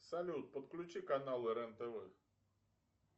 салют подключи каналы рен тв